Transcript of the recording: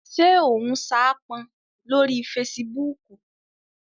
Ṣé o n saápọn lórí fesibúùkù?